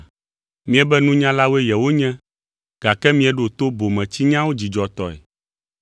Miebe nunyalawoe yewonye, gake mieɖoa to bometsinyawo dzidzɔtɔe.